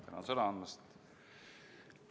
Tänan sõna andmast!